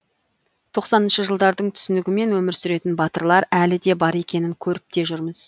тоқсаныншы жылдардың түсінігімен өмір сүретін батырлар әлі де бар екенін көріп те жүрміз